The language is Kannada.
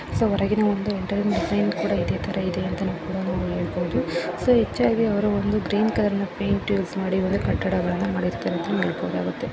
ಹೊರಗಿನ ಒಂದು ಪೇಯಿಂಟ್‌ ಕೂಡ ಇಟ್ಟಿದ್ದಾರೆ ಇದೆ ತರ ಇದೆ ಅಂತ ಕೂಡ ಹೇಳಬಹುದು ಸೋ ಹೆಚ್ಚಾಗಿ ಅವರು ಒಂದು ಗ್ರೀನ್‌ ಕಲರ್‌ ಪೇಯಿಂಟ್‌ ಯೂಸ್‌ ಮಾಡಿ ಕಟ್ಟಡವನ್ನು ಮಾಡಿರುತ್ತಾರೆ ಅಂತಾ ಹೇಳಬಹುದಾಗುತ್ತೆ.